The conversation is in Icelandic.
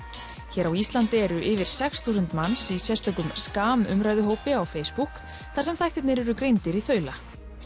hér á Íslandi eru yfir sex þúsund manns í sérstökum umræðuhópi á Facebook þar sem þættirnir eru greindir í þaula